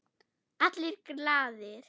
Allir glaðir.